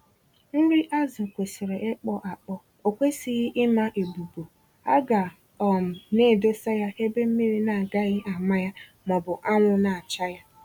Nri azụ kwesịrị ịkpọ-akpọ, okwesịghị ịma-ebubu, aga um naedosa ya ebe mmiri naagaghị àmà ya mọbụ anwụ nacha ya.